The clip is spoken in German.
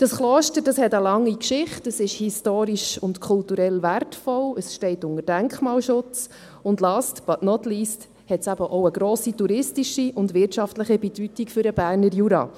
Das Kloster hat eine lange Geschichte, es ist historisch und kulturell wertvoll, es steht unter Denkmalschutz und hat – last but not least – auch eine grosse touristische und wirtschaftliche Bedeutung für den Berner Jura.